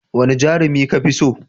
Wane jarumi ka fi so?